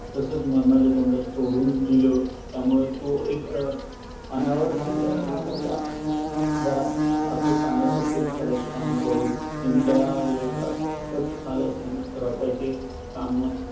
तसंच मरणाच्या तोंडात सोडून दिलं, त्यामुळं तो एक अनावर झालेल्या रागाच्या भरात पाकिस्तानला support करायचे काम करून, इंडिया विरोधात कट कारस्थान रचायचे कामात